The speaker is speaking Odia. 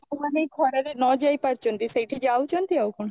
ଯୋଉମାନେ ଖରାରେ ନଯାଇ ପାରୁଛନ୍ତି ସେଠି ଯାଉଛନ୍ତି ଆଉ କଣ